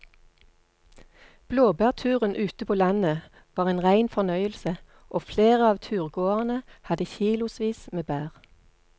Blåbærturen ute på landet var en rein fornøyelse og flere av turgåerene hadde kilosvis med bær.